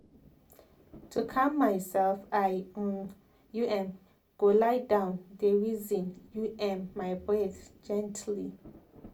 to calm myself i u m go lie down dey reason u m my breath gently.